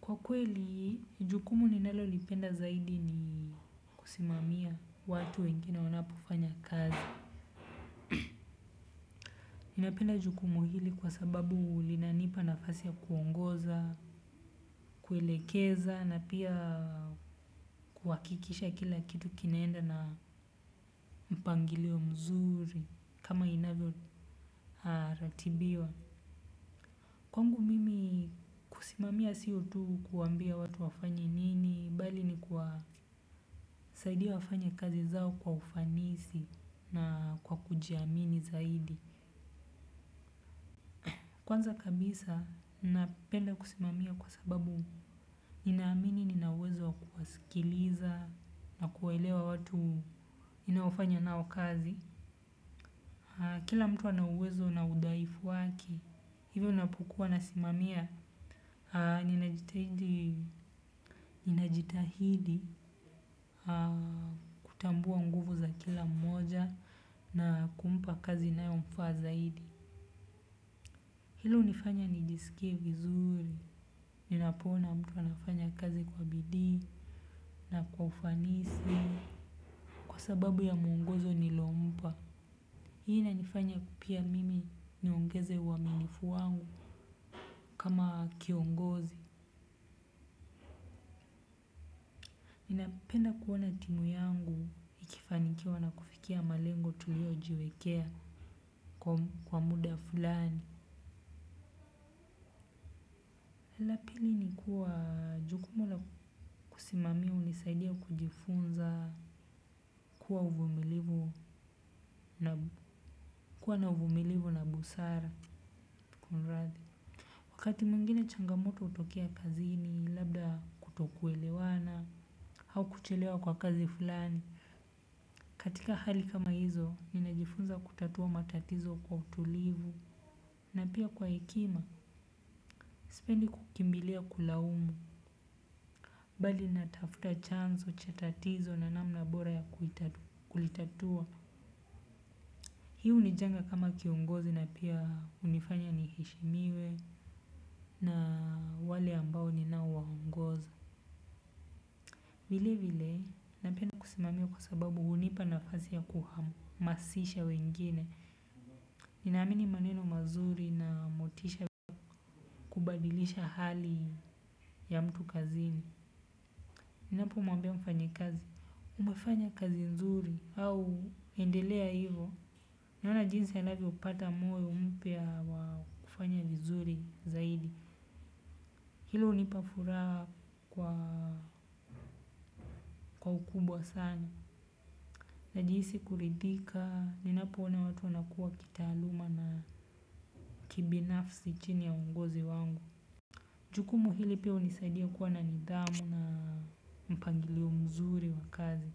Kwa kweli, jukumu ninalolipenda zaidi ni kusimamia watu wengine wanapofanya kazi. Ninapenda jukumu hili kwa sababu linanipa nafasi ya kuongoza, kuelekeza na pia kuakikisha kila kitu kinaenda na mpangilio mzuri kama inavyoratibiwa. Kwangu mimi kusimamia siyo tu kuambia watu wafanye nini, bali ni kuwasaidia wafanye kazi zao kwa ufanisi na kwa kujiamini zaidi. Kwanza kabisa napenda kusimamia kwa sababu ninaamini nina uwezo wa kusikiliza na kuelewa watu ninaofanya nao kazi. Kila mtu ana uwezo na udhaifu wake. Hivyo napokuwa nasimamia ninajitahidi kutambua nguvu za kila mmoja na kumpa kazi inayomfaa zaidi. Hilo unifanya nijiskie vizuri, ninapoona mtu anafanya kazi kwa bidii na kwa ufanisi kwa sababu ya mwongozo nilompa. Hii inanifanya pia mimi niongeze uwaminifu wangu kama kiongozi. Ninapenda kuona timu yangu ikifanikiwa na kufikia malengo tuliojiwekea kwa muda fulani. Pili ni kuwa jukumu la kusimamia unisaidia kujifunza kuwa na uvumilivu na busara. Wakati mwengine changamoto utokea kazini labda kutokuelewana hau kuchelewa kwa kazi fulani. Katika hali kama hizo ninajifunza kutatua matatizo kwa tulivu na pia kwa hekima. Sipendi kukimbilia kulaumu. Bali natafuta chanzo cha tatizo na namna bora ya kulitatua. Hii hunijenga kama kiongozi na pia unifanya nihishimiwe na wale ambao ninao waongoza. Vile vile, napenda kusimamiwa kwa sababu hunipa nafasi ya kuhamasisha wengine. Ninaamini maneno mazuri na motisha kubadilisha hali ya mtu kazini. Ninapomwambia mfanyikazi, umafanya kazi nzuri au endelea hivo. Unaona jinsi anavyopata moyo mpya wa kufanya vizuri zaidi. Hilo unipa furaha kwa ukubwa sana. Najihisi kuridhika, ninapoona watu wanakuwa kitaaluma na kibinafsi chini ya uongozi wangu. Jukumu hili pia unisaidia kuwa na nidhamu na mpangilio mzuri wa kazi.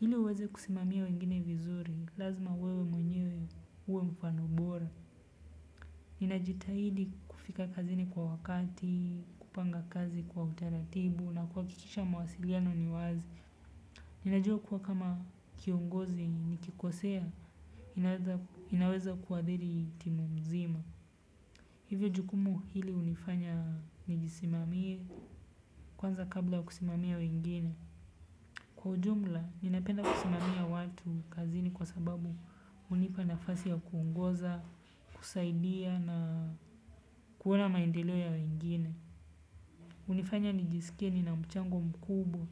Hili uweze kusimamia wengine vizuri, lazima wewe mwenyewe uwe mfano bora. Ninajitahidi kufika kazini kwa wakati, kupanga kazi kwa utaratibu na kuakikisha mawasiliano ni wazi. Ninajua kuwa kama kiongozi nikikosea ninaweza kuadhiri timu mzima. Hivyo jukumu hili unifanya nijisimamie kwanza kabla kusimamia wengine. Kwa ujumla, ninapenda kusimamia watu kazini kwa sababu unipa nafasi ya kuungoza, kusaidia na kuona maendeleo ya wengine. Unifanya nijiskie nina mchango mkubwa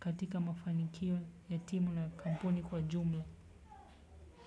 katika mafanikio ya timu na kampuni kwa jumla.